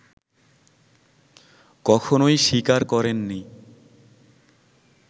কখনোই স্বীকার করেননি